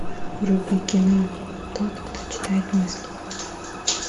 вруби кино тот кто читает мысли